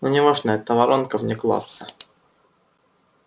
но не важно это воронка вне класса